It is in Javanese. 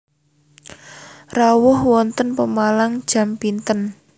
Rawuh wonten Pemalang jam pinten